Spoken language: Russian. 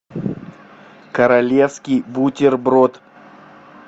королевский бутерброд